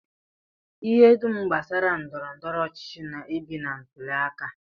Ihe dum gbasara ndọrọndọrọ ọchịchị na-ebi na ntụli aka